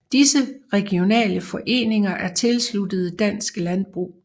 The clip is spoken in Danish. Disse regionale foreninger er tilsluttet Dansk Landbrug